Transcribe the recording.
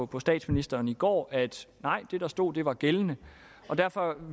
på statsministeren i går at det der stod var gældende derfor